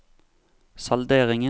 salderingen